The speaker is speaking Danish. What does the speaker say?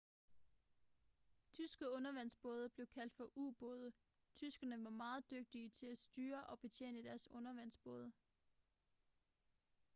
tyske undervandsbåde blev kaldt for u-både tyskerne var meget dygtige til at styre og betjene deres undervandsbåde